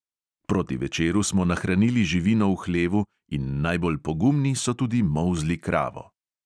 Proti večeru smo nahranili živino v hlevu in najbolj pogumni so tudi molzli kravo.